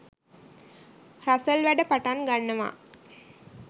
Russell වැඩ පටන් ගන්නවා.